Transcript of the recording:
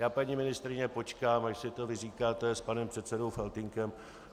Já, paní ministryně, počkám, až si to vyříkáte s panem předsedou Faltýnkem.